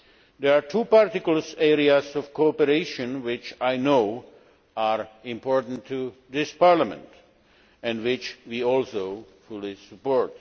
There are two particular areas of cooperation which I know are important to this Parliament and which we also fully support.